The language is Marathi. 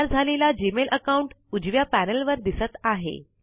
तयार झालेला जीमेल अकाउंट उजव्या पैनल वर दिसत आहे